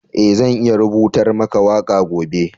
Eh, zan iya rubutar maka waka gobe.